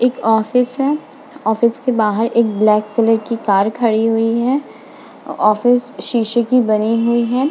इक ऑफिस है। ऑफिस के बाहर एक ब्लैक कलर की कार खड़ी हुई है। ऑफिस शीशे की बनी हुई है।